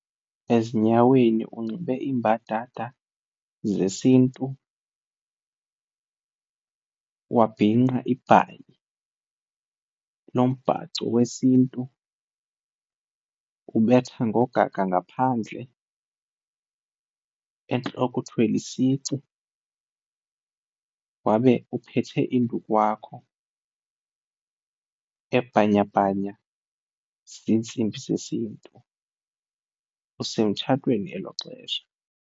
Ezinyaweni unxibe iimbadada zesiNtu, wabhinqa ibhayi nombhaco wesiNtu, ubetha ngogaga ngaphandle. Entloko uthwele isici wabe uphethe induku yakho ebhanyabhanya ziintsimbi zesiNtu, usemtshatweni elo xesha.